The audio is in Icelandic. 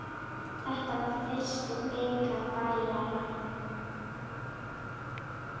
Þetta var fyrsti bikar Bæjara.